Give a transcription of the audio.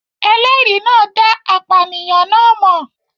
Ẹlẹ́rìí náà dá apànìyàn náà mọ̀